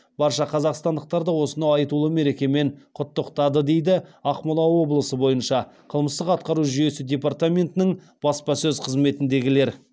барша қазақстандықтарды осынау айтуылы мерекемен құттықтады дейді ақмола облысы бойынша қылмыстық атқару жүйесі департаментінің баспасөз қызметіндегілер